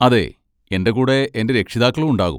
അതെ, എൻ്റെ കൂടെ എൻ്റെ രക്ഷിതാക്കളും ഉണ്ടാകും.